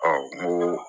n ko